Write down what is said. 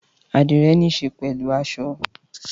Àdíre nííse pẹlú aso